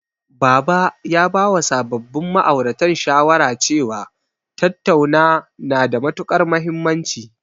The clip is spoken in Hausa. Baba ya bawa sababbin ma'auratan shawara cewa, tattauna na da matuƙar mahimmanci.